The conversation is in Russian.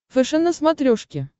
фэшен на смотрешке